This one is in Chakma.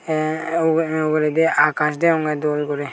tey ugu uguredi akaas degongey dol guri.